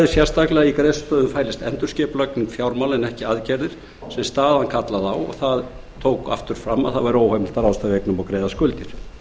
sérstaklega að í greiðslustöðvun fælist endurskipulagning fjármála en ekki aðgerðir sem staðan kallaði á og tók aftur fram að það væri óheimilt að ráðstafa eignum og greiða skuldir